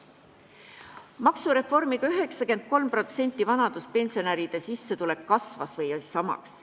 Maksureformi tõttu 93% vanaduspensionäride sissetulek kasvas või jäi samaks.